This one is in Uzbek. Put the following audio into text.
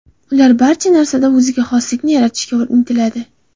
Ular barcha narsada o‘ziga xoslikni yaratishga intiladi.